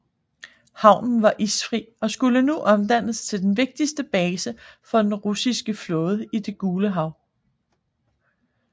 Havnen var isfri og skulle nu omdannes til den vigtigste base for den russiske flåde i Det Gule Hav